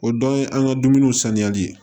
O dɔn ye an ka dumuniw sanuyali ye